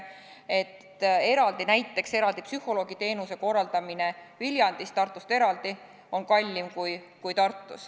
Nagu näiteks psühholoogiteenuse korraldamine Viljandis, Tartust eraldi, on kallim kui Tartus.